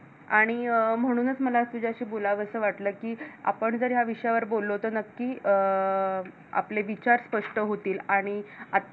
आणि अं म्हणूनच मला तुझ्याशी बोलवं असं वाटलं की आपण जर या विषयावर बोललो तर नक्की अं आपले विचार स्पष्ट होतील आणि